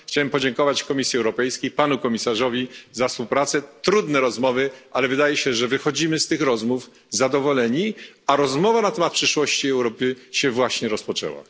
Chciałem podziękować Komisji Europejskiej i Panu Komisarzowi za współpracę. Były to trudne rozmowy, ale wydaje się, że wychodzimy z nich zadowoleni, a dyskusja na temat przyszłości Europy się właśnie rozpoczęła.